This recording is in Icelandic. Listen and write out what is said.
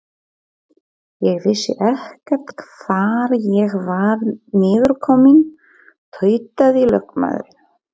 Ég vissi ekkert hvar ég var niðurkominn, tautaði lögmaðurinn.